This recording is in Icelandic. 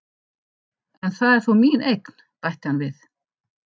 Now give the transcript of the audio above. En það er þó mín eign, bætti hann við.